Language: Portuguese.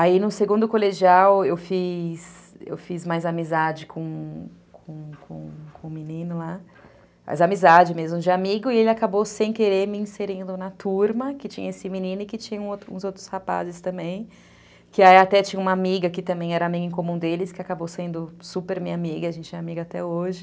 Aí no segundo colegial eu fiz, eu fiz mais amizade com com com o menino lá, mais amizade mesmo, de amigo, e ele acabou sem querer me inserindo na turma, que tinha esse menino e que tinha uns outros rapazes também, que aí até tinha uma amiga que também era amiga em comum deles, que acabou sendo super minha amiga, a gente é amiga até hoje.